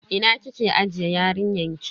Ina kike ajiye yarinyan ki?